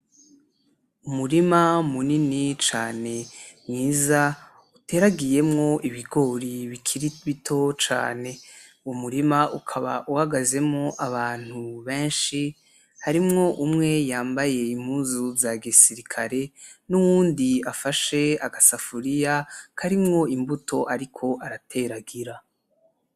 Umurima munini cane mwiza uteragiyemwo ibigori bikiri bito cane, uwo murima ukaba uhagazemo abantu benshi, harimwo umwe yambaye impuzu zagisirikare n'uwundi afashe agasafuriya karimwo imbuto ariko arateragira.